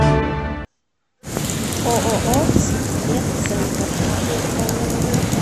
ооо сибмедцентр